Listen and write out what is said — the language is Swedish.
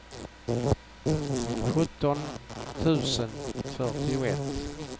sjutton tusen fyrtioett